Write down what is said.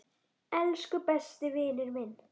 Elsku besti vinur minn.